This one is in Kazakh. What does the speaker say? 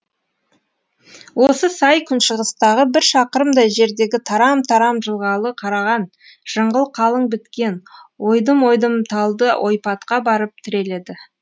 осы сай күншығыстағы бір шақырымдай жердегі тарам тарам жылғалы қараған жыңғыл қалың біткен ойдым ойдым талды ойпатқа барып тіреледі